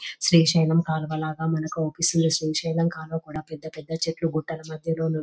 శ్రీశైలం కాలువ లాగా మనకూ అనిపిస్తుంది శ్రీశైలం కాలువ కుడా పెద్ద పెద్ద చెట్లు గుట్టల మద్యలో --